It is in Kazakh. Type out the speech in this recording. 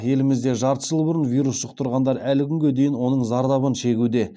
елімізде жарты жыл бұрын вирус жұқтырғандар әлі күнге дейін оның зардабын шегуде